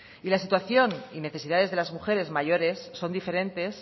y la situación y necesidades de las mujeres mayores son diferentes